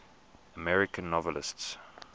american novelists